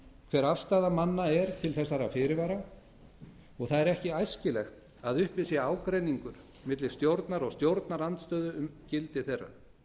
hver afstaða manna er til þessara fyrirvara og það er ekki æskilegt að uppi sé ágreiningur milli stjórnar og stjórnarandstöðu um gildi þeirra